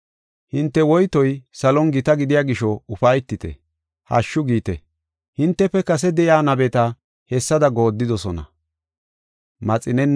Hinte woytoy salon gita gidiya gisho ufaytite, hashshu giite. Hintefe kase de7iya nabeta hessada goodidosona.